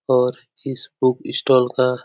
और इस book stall का --